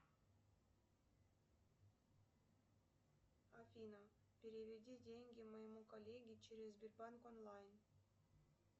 афина переведи деньги моему коллеге через сбербанк онлайн